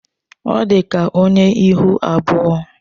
Ọ dị ka onye ihu abụọ.